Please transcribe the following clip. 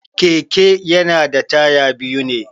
Keke yana da taya biyu ne.